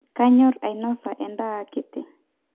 kanyorr ainosa endaa akiti